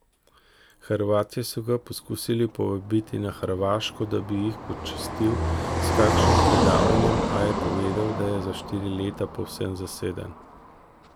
Hrvatje so ga poskusili povabiti na Hrvaško, da bi jih počastil s kakšnim predavanjem, a je povedal, da je za štiri leta povsem zaseden.